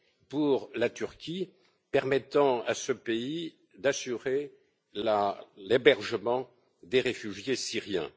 pour la Turquie permettant à ce pays d'assurer l'hébergement des réfugiés syriens.